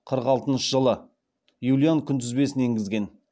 қырық алтыншы жылы юлиан күнтізбесін енгізген